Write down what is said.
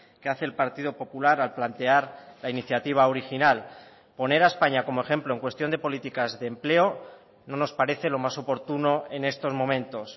que hace el partido popular al plantear la iniciativa original poner a españa como ejemplo en cuestión de políticas de empleo no nos parece lo más oportuno en estos momentos